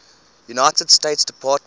united states department